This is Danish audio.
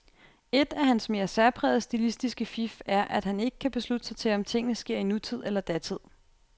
Ét af hans mere særprægede stilistiske fif er, at han ikke kan beslutte sig til, om tingene sker i nutid eller datid.